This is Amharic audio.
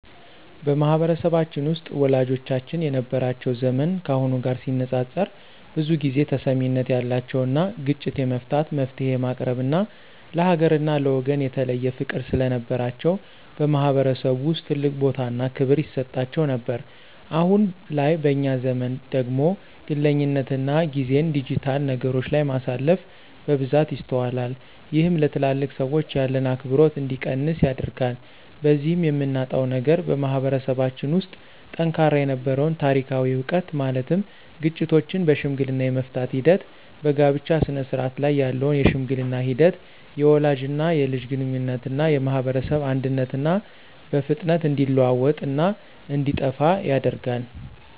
በማህበረሰባችን ውስጥ ወላጆቻችን የነበራቸው ዘመን ካሁኑ ጋር ሲነፃፀር ብዙ ጊዜ ተሰሚነት ያላቸውና ግጭት የመፍታት፣ መፍትሔ የማቅረብና ለሀገርና ለወገን የተለየ ፍቅር ስለነበራቸው በማህበረሰቡ ውስጥ ትልቅ ቦታና ክብር ይሰጣቸው ነበር። አሁን ላይ በእኛ ዘመን ደግሞ ግለኝነትና ጊዜን ዲጂታል ነገሮች ላይ ማሳለፍ በብዛት ይስተዋላል። ይህም ለትልልቅ ሰዎች ያለን አክብሮት እንዲቀንስ ያደርጋል። በዚህም የምናጣው ነገር በማህበረሰባችን ውስጥ ጠንካራ የነበረውን ታሪካዊ ዕውቀት ማለትም ግጭቶችን በሽምግልና የመፍታት ሂደት፣ በጋብቻ ስነስርዓት ላይ ያለውን የሽምግልና ሂደት፣ የወላጅና የልጅ ግንኙነትና የማህበረሰብ አንድነትና በፍጥነት እንዲለወጥና እንዲጠፋ ያደርጋል።